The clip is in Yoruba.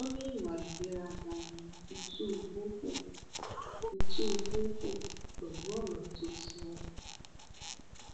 wọn ní ìwà ìgbéraga ni tìtúbù hù tìtúbù hù pẹlú ọrọ tó sọ ohun